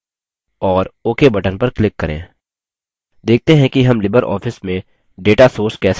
देखते हैं कि हम libreoffice में data sources कैसे let सकते हैं